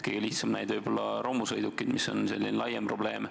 Kõige lihtsam näide on romusõidukid, mis on selline laiem probleem.